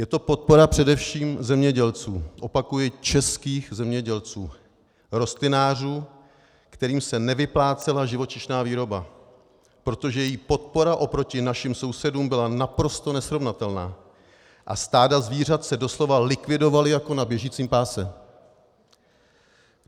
Je to podpora především zemědělců, opakuji českých zemědělců rostlinářů, kterým se nevyplácela živočišná výroba, protože její podpora oproti našim sousedům byla naprosto nesrovnatelná a stáda zvířat se doslova likvidovala jako na běžícím pásu.